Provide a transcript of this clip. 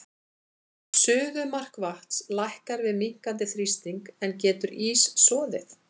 Suðumark vatns lækkar við minnkandi þrýsting, en getur ís soðið?